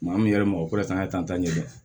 Maa min yɛrɛ ma o fana y'a tantan ɲɛ dɛ